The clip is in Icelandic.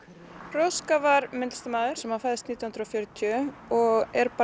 róska var myndlistarmaður sem fæðist árið nítján hundruð og fjörutíu og er